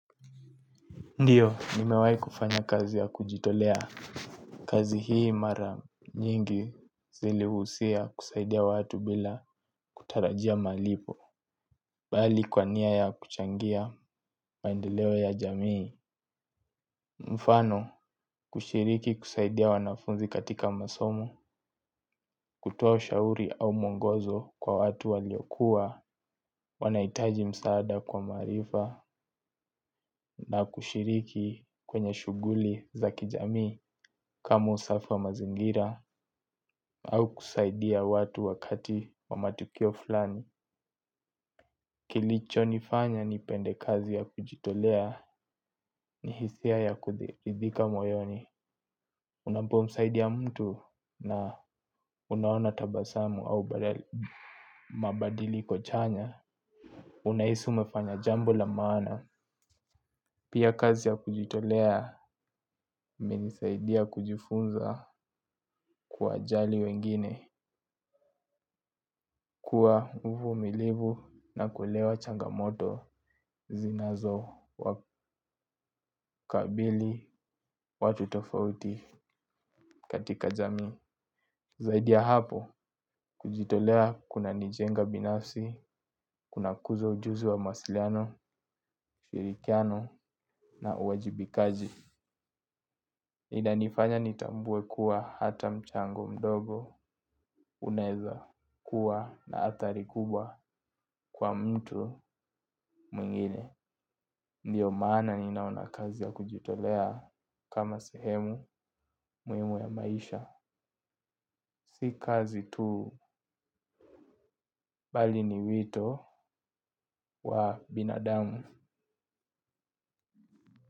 Ndiyo, nimewai kufanya kazi ya kujitolea. Kazi hii mara nyingi zilihusia kusaidia watu bila kutarajia malipo. Bali kwa nia ya kuchangia maendeleo ya jamii. Mfano, kushiriki kusaidia wanafunzi katika masomo. Kutoa ushauri au mwongozo kwa watu waliokuwa wanahitaji msaada kwa maarifa. Na kushiriki kwenye shuguli za kijamii. Kama usafi wa mazingira au kusaidia watu wakati wa matukio fulani. Kilicho nifanya ni pende kazi ya kujitolea ni hisia ya kuridhika moyoni. Unapo msaidia mtu na unaona tabasamu au mabadiliko chanya. Unahisi umefanya jambo la maana. Pia kazi ya kujitolea imenisaidia kujifunza kuwajali wengine. Kwa uvumilivu na kuelewa changamoto zinazo wakabili watu tofauti katika jamii. Zaidia hapo, kujitolea kunanijenga binafsi, kunakuza ujuzi wa mawasiliano, ushirikiano na uwajibikaji. Inanifanya nitambue kuwa hata mchango mdogo unaeza kuwa na athari kubwa kwa mtu mwingine. Ndiyo maana ninaona kazi ya kujitolea kama sehemu muhimu ya maisha. Si kazi tu bali ni wito wa binadamu.